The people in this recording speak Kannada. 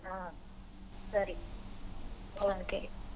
ಹಾ ಸರಿ.